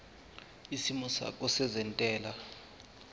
isimo sakho sezentela